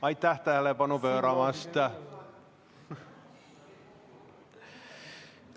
Aitäh tähelepanu pööramast!